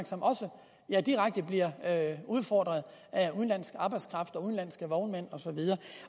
er direkte bliver udfordret af udenlandsk arbejdskraft og udenlandske vognmænd og så videre